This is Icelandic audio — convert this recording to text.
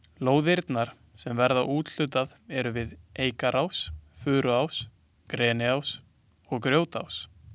Lóðirnar sem verður úthlutað eru við Eikarás, Furuás, Greniás og Grjótás.